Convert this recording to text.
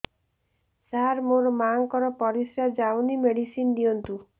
ସାର ମୋର ମାଆଙ୍କର ପରିସ୍ରା ଯାଉନି ମେଡିସିନ ଦିଅନ୍ତୁ